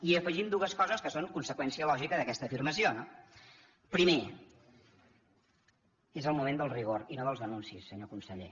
i hi afegim dues coses que són conseqüència lògica d’aquesta afirmació no primer és el moment del rigor i no dels anuncis senyor conseller